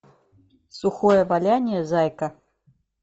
сухое валяние зайка